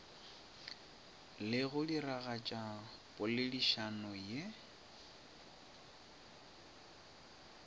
le go diragatša poledišano ye